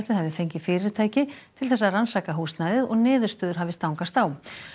hafi fengið fyrirtæki til þess að rannsaka húsnæðið og niðurstöður hafi stangast á